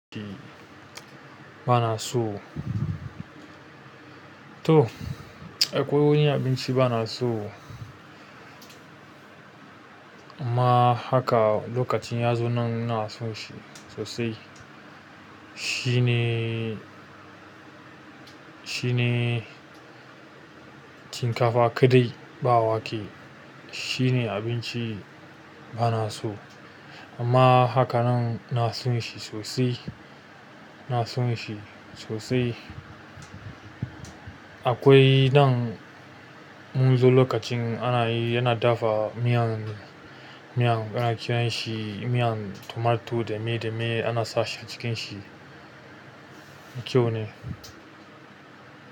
Abinci ba na so. To, akwai wani abinci ba na so. Amma haka lokacin yanzu nan ina son shi sosai. Shi ne, shi ne shinkafa kaɗai ba wake. Shi ne abinci ba na so. Amma haka nan ina son shi sosai, ina son shi sosai. Akwai dan mun zo lokacin ana, yana dafa miyan, miyan ana kiranshi miyan tomato da me da me ana sashi cikin shi. Na kyau ne.